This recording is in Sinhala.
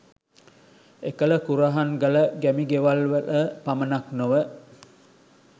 එකල කුරහන් ගල ගැමි ගෙවලවල පමණක් නොව